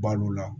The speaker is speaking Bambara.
Balo la